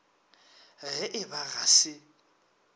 ge e ba ga se